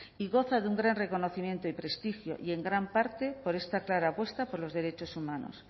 y goza de un gran reconocimiento y prestigio y en gran parte por esta clara apuesta por los derechos humanos